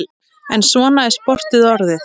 En svona er sportið orðið.